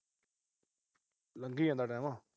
ਲੰਘੀ ਜਾਂਦਾ ਟੈਮ।